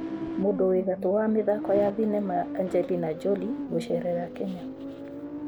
Mũndũ wĩ gatũ wa mithako ya thinema Angelina Jolie gucerera Kenya